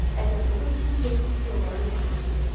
Əsas odur ki, Ceyms pis yollara düşməsin.